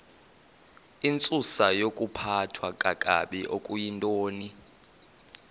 intsusayokuphathwa kakabi okuyintoni